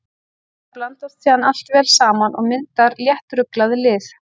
Þetta blandast síðan allt vel saman og myndar léttruglað lið.